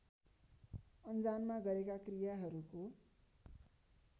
अन्जानमा गरेका क्रियाहरूको